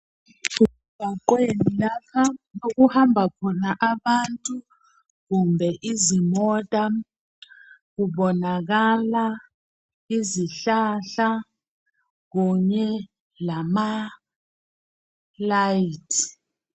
Kuse mgwaqweni okuhamba khona abantu kumbe izimota kubonaka izihlahla kunye lama layithi.